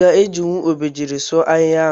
Iga eji Obejiri sụọ ahihia?